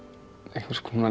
einhvers konar